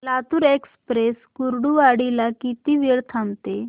Latur express Kurduwadi ला किती वेळ थांबते